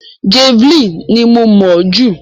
Javeline ni mo mọ̀ ọ́ jù.